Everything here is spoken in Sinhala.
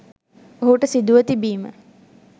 ඔහුට සිදුව තිබීම